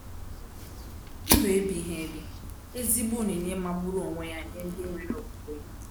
Ndụ ebighị ebi -ezigbo onyinye magburu onwe ya nyere ndị nwere okwukwe!